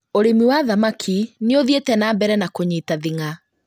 ũrĩithia wa thamaki nĩũthiĩte na mbere na kũnyita thing'a